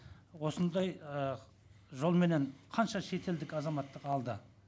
осындай і жолменен қанша шетелдік азаматтық алды